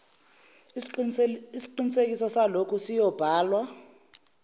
isiqinisekiso salokhu siyobhala